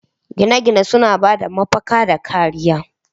Gine-gine suna ba da mafaka da kariya